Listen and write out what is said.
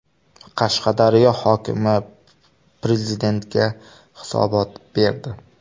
Qashqadaryo hokimi Prezidentga hisobot berdi.